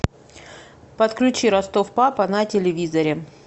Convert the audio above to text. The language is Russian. подключи ростов папа на телевизоре